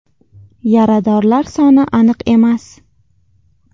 Yaradorlar soni aniq emas.